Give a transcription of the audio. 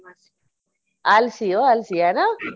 ਆਲਸੀ ਓ ਆਲਸੀ ਹਨਾ